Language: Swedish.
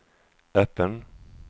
öppen